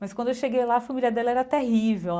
Mas quando eu cheguei lá, a família dela era terrível.